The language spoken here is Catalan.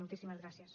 moltíssimes gràcies